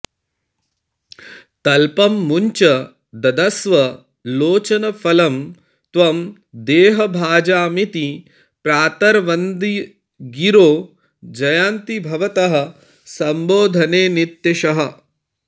तल्पं मुञ्च ददस्व लोचनफलं त्वं देहभाजामिति प्रातर्वन्दिगिरो जयन्ति भवतः सम्बोधने नित्यशः